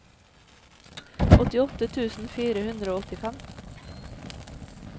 åttiåtte tusen fire hundre og åttifem